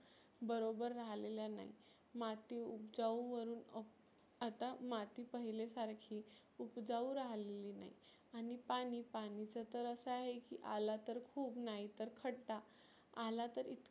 बरोबर राहलेल्या नाही. माती उबजाऊ वरुण आता माती पहिल्या सारखी उपजाऊ राहलेली नाही. आणि पाणि, पाणिचं तर असं आहे की आला तर खुप नाही तर खड्डा आला तर इतका.